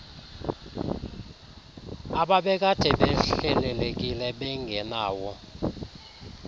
ababekade behlelekile bengenawo